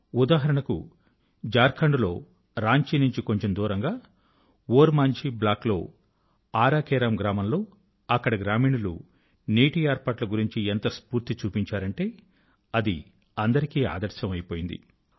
ఉదాహరణ కు ఝార్ఖండ్ లో రాంచీ నుంచి కొంచెం దూరంగా ఓర్ మాంఝీ బ్లాక్ లో ఆరా కేరమ్ గ్రామం లో అక్కడి గ్రామీణులు నీటి ఏర్పాట్ల గురించి ఎంత స్ఫూర్తి చూపించారంటే అది అందరికీ ఆదర్శం అయిపోయింది